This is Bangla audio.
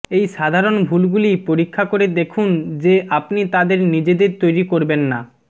এই সাধারণ ভুলগুলি পরীক্ষা করে দেখুন যে আপনি তাদের নিজেদের তৈরি করবেন না